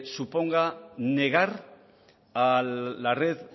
suponga negar a la red